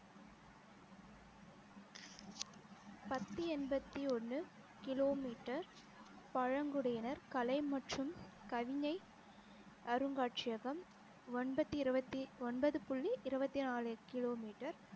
பத்து எண்பத்தி ஒன்னு kilo meter பழங்குடியினர் கலை மற்றும் கவிஞை அருங்காட்சியகம் ஒன்பத்தி இருவத்தி ஒன்பது புள்ளி இருவத்தி நாலு kilo meter